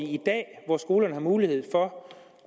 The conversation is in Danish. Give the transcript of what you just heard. i dag hvor skolerne har mulighed for